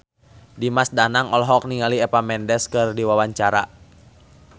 Dimas Danang olohok ningali Eva Mendes keur diwawancara